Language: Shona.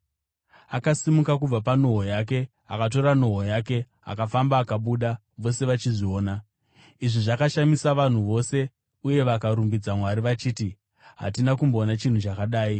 Akasimuka kubva panhoo yake, akatora nhoo yake akafamba akabuda vose vachizviona. Izvi zvakashamisa munhu wose uye vakarumbidza Mwari vachiti, “Hatina kumboona chinhu chakadai!”